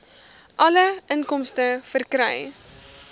alle inkomste verkry